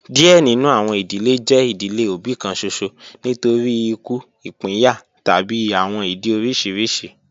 Diẹ ninu awọn idile jẹ idile obi kan ṣoṣo nitori iku, ipinya tabi awọn idi oriṣiriṣi